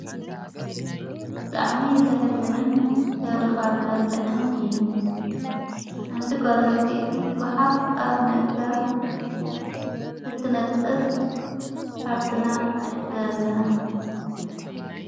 ብጥዕሚ ዘሕዘንን ተብድኻ ዘበለዐን እዩ ሓንቲ ጓልንስተይቲ ጐሓፍ ኣብ ምእካብ እትነጥህ ሓፍትና ኣዕዘበለና።